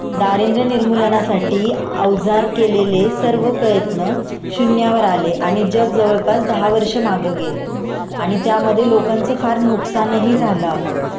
दारिन्दर्य निर्मूलनासाठी अवजार केलेले सर्व प्रयत्न शून्यावर आले आणि जग जवळपास दहा वर्ष मग गेलं आणि त्यामध्ये लोकांचं फार नुकसानही झालं अग